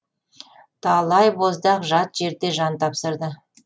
талай боздақ жат жерде жан тапсырды